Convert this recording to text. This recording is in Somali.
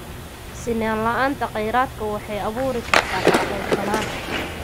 Sinnaan la'aanta kheyraadka waxay abuuri kartaa kala qaybsanaan.